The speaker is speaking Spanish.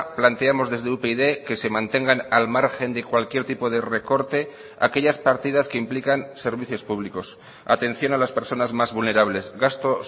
planteamos desde upyd que se mantengan al margen de cualquier tipo de recorte aquellas partidas que implican servicios públicos atención a las personas más vulnerables gasto